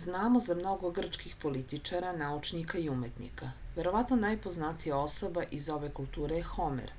znamo za mnogo grčkih političara naučnika i umetnika verovatno najpoznatija osoba iz ove kulture je homer